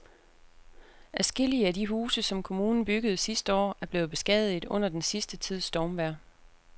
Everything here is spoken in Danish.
Adskillige af de huse, som kommunen byggede sidste år, er blevet beskadiget under den sidste tids stormvejr.